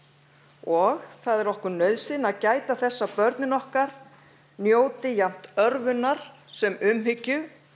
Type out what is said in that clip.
og það er okkur nauðsyn að gæta þess að börnin okkar njóti jafnt örvunar sem umhyggju